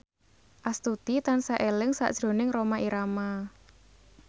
Astuti tansah eling sakjroning Rhoma Irama